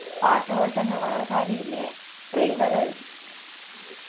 പാട്ട് പോലത്തെന്നെ വേറെ കാര്യോം ഇല്ലേ trailer